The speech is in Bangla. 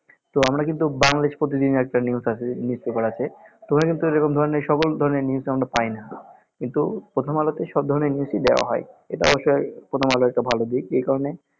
তো আমরা কিন্তু বাংলাদেশ প্রতিদিন একটা news আসে news paper আসে তো ওখানে কিন্তু এরকম ধরেনর আমরা সকল ধরণের news আমরা পাই না কিন্তু প্রথম আলোতে সব ধরনের news দেওয়া হয় এটা অবশ্যই প্রথমআলোর একটা ভালোদিক একারণে